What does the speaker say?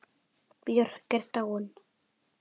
Björk er dáin.